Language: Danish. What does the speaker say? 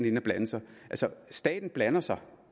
ind at blande sig altså staten blander sig